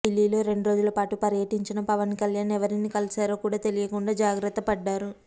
ఢిల్లీలో రెండు రోజులపాటు పర్యటించిన పవన్ కళ్యాణ్ ఎవరిని కలిశారో కూడా తెలియకుండా జాగ్రత్తపడ్డారు